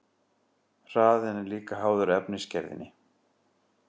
Hraðinn er líka háður efnisgerðinni.